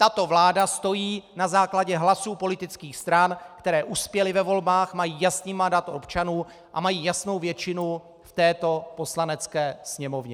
Tato vláda stojí na základě hlasů politických stran, které uspěly ve volbách, mají jasný mandát občanů a mají jasnou většinu v této Poslanecké sněmovně.